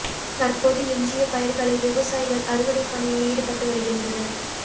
தற்போது எஞ்சிய பயிர்களை விவசாயிகள் அறுவடை பணியில் ஈடுபட்டு வருகின்றனர்